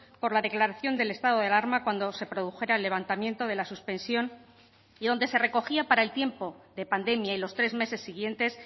por la declaración del estado de alarma cuando se produjera el levantamiento de la suspensión y donde se recogía para el tiempo de pandemia y los tres meses siguientes